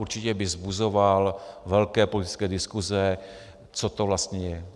Určitě by vzbuzoval velké politické diskuse, co to vlastně je.